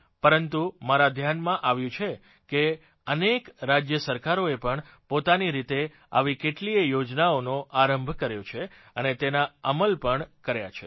પરંતુ મારા ધ્યાનમાં આવ્યું છે કે અનેક રાજ્ય સરકારોએ પણ પોતાની રીતે આવી કેટલીય યોજનાઓનો આરંભ કર્યો છે અને તેનો અમલ પણ કર્યો છે